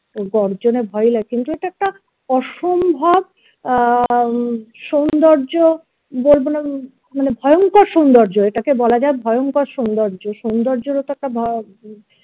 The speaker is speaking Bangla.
গর্জনের ভয়ে লাগে কিন্তু এটা একটা অসম্ভব আহ সৌন্দর্য বা~ বলবো না ম~ মানে ভয়ঙ্কর সৌন্দর্য এটাকে বলা যাই ভয়ঙ্কর সৌন্দর্য সৌন্দর্যেরও তো একটা